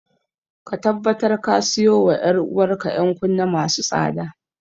Ka tabbatar ka siyo wa ‘yar’uwar ka ‘yan kunne masu tsada.